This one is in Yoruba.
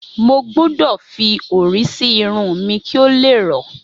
Mo gbudọ̀ fi orí sí irun mi kí ó le rọ́.